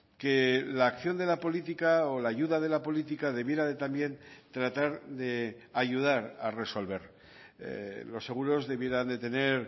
que la acción de la política o la ayuda de la política debiera de también tratar de ayudar a resolver los seguros debieran de tener